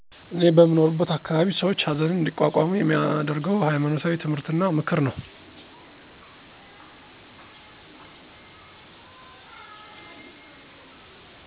እኔ በምኖርበት አካባቢ ሰዎች ሀዘንን አንዲቋቋሙ የሚያደርገው ሀይማኖታዊ ትምህርት እና ምክር ነው።